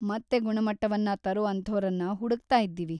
ಮತ್ತೆ ಗುಣಮಟ್ಟವನ್ನ ತರೋ ಅಂಥೋರನ್ನ ಹುಡುಕ್ತಾ ಇದ್ದೀವಿ.